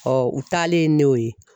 u taalen ne o ye